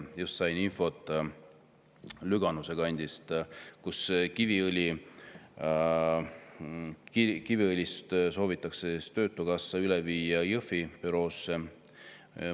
Just sain infot Lüganuse kandist: Kiviõlist soovitakse töötukassa üle viia Jõhvi büroosse.